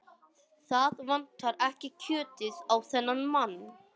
Það vantar ekki kjötið á þennan mann.